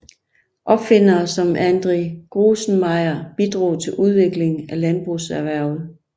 Opfindere som Andre Grusenmeyer bidrog til udviklingen af landbrugserhvervet